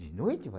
De noite vai